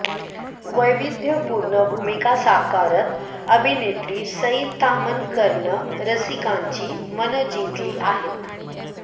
वैविध्यपूर्ण भूमिका साकारत अभिनेत्री सई ताम्हणकरनं रसिकांची मनं जिंकली आहेत